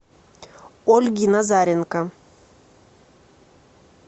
ольги назаренко